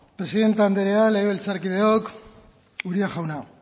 presidente andrea legebiltzarkideok uria jauna